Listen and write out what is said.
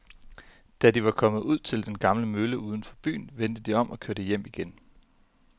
Da de var kommet ud til den gamle mølle uden for byen, vendte de om og kørte hjem igen.